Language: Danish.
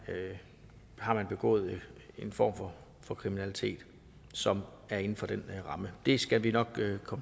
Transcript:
har begået en form for for kriminalitet som er inden for den ramme det skal vi nok vende